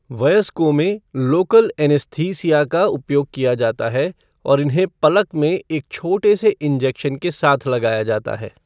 वयस्कों में local anaesthesia का उपयोग किया जाता है और इन्हें पलक में एक छोटे से इंजेक्शन के साथ लगाया जाता है।